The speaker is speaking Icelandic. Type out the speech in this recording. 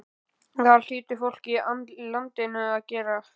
En það hlýtur fólkið í landinu að gera.